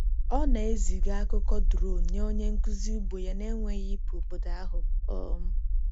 Ọ na-eziga akụkọ drone nye onye nkuzi ugbo ya na-enweghị ịpụ obodo ahụ. um